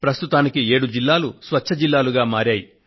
ప్రస్తుతానికి 7 జిల్లాలు స్వచ్ఛ జిల్లాలుగా మారాయి